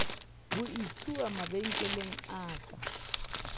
ho utsuwa mabenkeleng a ka